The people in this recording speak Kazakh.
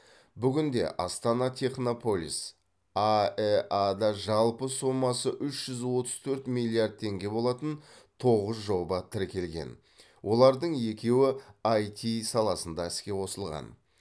бүгінде астана технополис аэа да жалпы сомасы үш жүз отыз төрт миллиард теңге болатын тоғыз жоба тіркелген олардың екеуі іт саласында іске қосылған